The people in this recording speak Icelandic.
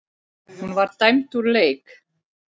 Hún var dæmd úr leik.